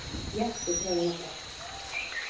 Jeppi dreginn á brott